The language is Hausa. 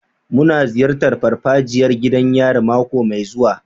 Muna ziyartar farfajiyar gidan yari mako mai zuwa.